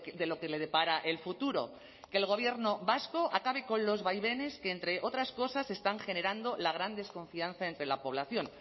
de lo que le depara el futuro que el gobierno vasco acabe con los vaivenes que entre otras cosas están generando la gran desconfianza entre la población